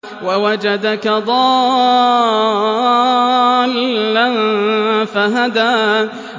وَوَجَدَكَ ضَالًّا فَهَدَىٰ